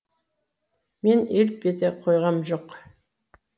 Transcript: мен елп ете қойғам жоқ